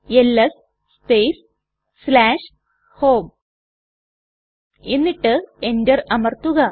LS space home എന്നിട്ട് enter അമർത്തുക